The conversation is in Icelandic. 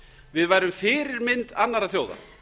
við værum fyrirmynd annarra þjóða